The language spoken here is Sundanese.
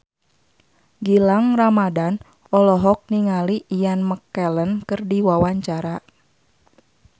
Gilang Ramadan olohok ningali Ian McKellen keur diwawancara